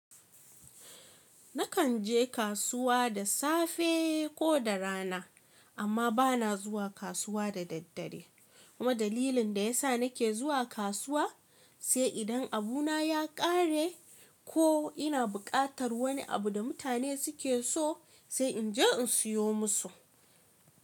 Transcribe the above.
Nakan je kasuwa da safe ko da rana amma bana zuwa kasuwa da daddare. Kuma dalilin da ya sa nake zuwa kasuwa sai idan abu na ya kare ko ina bukatar wani abu da mutane suke so sai inje in siyo musu.